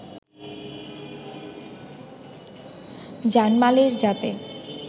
জানমালের যাতে